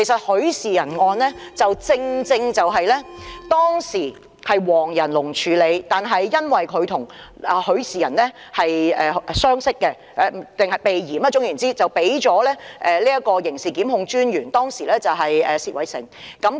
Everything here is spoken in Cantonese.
許仕仁案當時是由黃仁龍處理，但或許因為他與許仕仁相識，為了避嫌，最終還是交由當時的刑事檢控專員薛偉成處理。